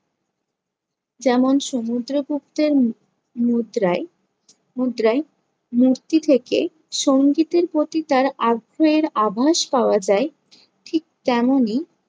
যেমন সমুদ্রগুপ্তের মু~ মুদ্রায়, মুদ্রায় মূর্তি থেকে সংগীতের প্রতি তার আগ্রহের আভাস পাওয়া যায়। ঠিক তেমনই